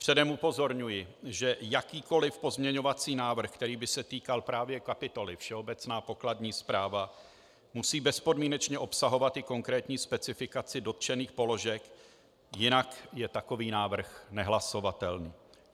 Předem upozorňuji, že jakýkoli pozměňovací návrh, který by se týkal právě kapitoly Všeobecná pokladní správa, musí bezpodmínečně obsahovat i konkrétní specifikaci dotčených položek, jinak je takový návrh nehlasovatelný.